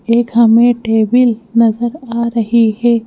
एक हमें टेबिल नजर आ रही है।